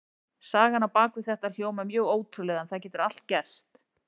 Sagan á bak við þetta hljómar mjög ótrúlega en það getur allt gerst.